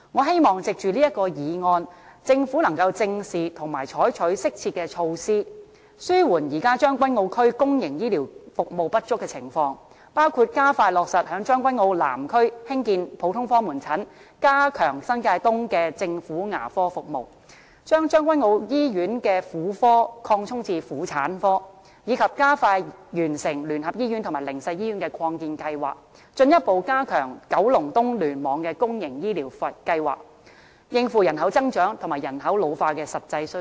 藉着這項議案，我希望政府能夠正視和採取適切措施，紓緩現時將軍澳區公營醫療服務不足的情況，包括加快落實在將軍澳南區興建普通科門診、加強新界東的政府牙科服務、把將軍澳醫院的婦科擴充至婦產科，以及加快完成聯合醫院和靈實醫院的擴建計劃，進一步加強九龍東聯網的公營醫療服務，應付人口增長和人口老化的實際需要。